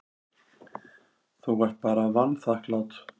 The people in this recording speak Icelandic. Þú ert bara vanþakklát.